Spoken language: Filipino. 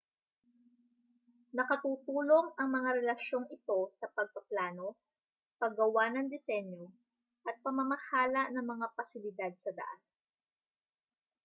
nakatutulong ang mga relasyong ito sa pagpaplano paggawa ng disenyo at pamamahala ng mga pasilidad sa daan